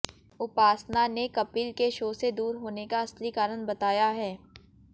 उपासना ने कपिल के शो से दूर होने का असली कारण बताया है